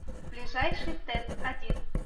ближайший тэц один